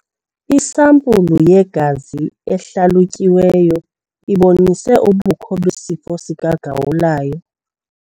Isampulu yegazi ehlalutyiweyo ibonise ubukho besifo sikagawulayo.